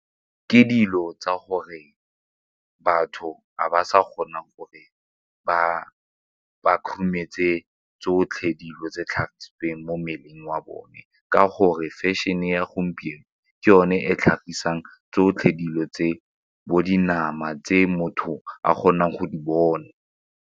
Ke dilo tsa gore batho ga ba sa kgona gore ba khurumetse tsotlhe dilo tse tlhagisitsweng mo mmeleng wa bone ka gore fashion-e ya gompieno ke yone e tlhagisang tsotlhe dilo tse bo dinama tse motho a kgonang go di bona.